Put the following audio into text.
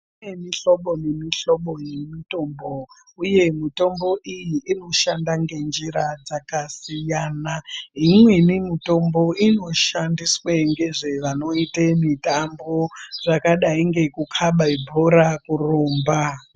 Kune mihlobo nemihlobo yemitombo, uye mitombo iyi inoshanda ngenjira dzakasiyana. Imweni mutombo inoshandiswe ngezvevanoite mitambo, zvakadai ngekukhabe bhora kurumba.